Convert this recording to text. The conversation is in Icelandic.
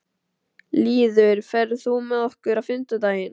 Lýður, ferð þú með okkur á fimmtudaginn?